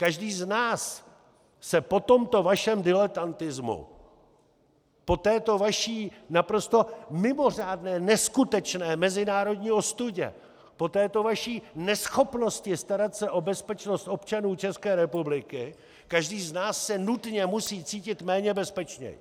Každý z nás se po tomto vašem diletantismu, po této vaší naprosto mimořádné, neskutečné mezinárodní ostudě, po této vaší neschopnosti starat se o bezpečnost občanů České republiky, každý z nás se nutně musí cítit méně bezpečně!